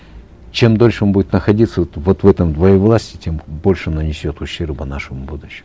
чем дольше он будет находиться вот вот в этом двоевластии тем больше нанесет ущерба нашему будущему